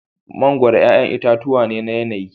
Mangoro 'ƴa'ƴan itatuwa ne na yanayi.